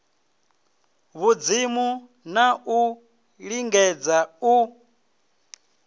vhudzimu na u lingedza u